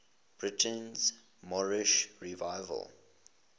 britain's moorish revival